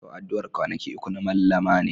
Yau addu'ar kwanaki uku na Mallama ne.